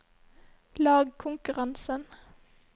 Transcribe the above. lagkonkurransen